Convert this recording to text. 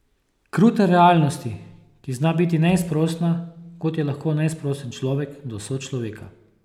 Krute realnosti, ki zna biti neizprosna, kot je lahko neizprosen človek do sočloveka.